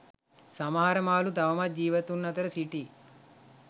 සමහර මාළු තවමත් ජීවතුන් අතර සිටියි.